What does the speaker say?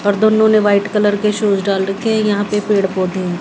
और दोनों ने व्हाइट कलर के शूज डाल रखे हैं यहां पे पेड़ पौधे--